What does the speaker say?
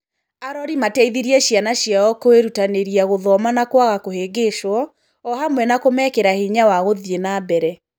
arori mateithirie ciana ciao kwĩrutanĩria gũthoma na kwaga kũhĩngĩcwo, o hamwe na kũmekĩra hinya wa gũthiĩ nambere.